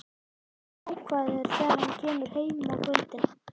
Hann er jákvæður þegar hann kemur heim á kvöldin.